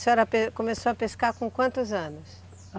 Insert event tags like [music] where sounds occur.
A senhora [unintelligible] começou a pescar com quantos anos?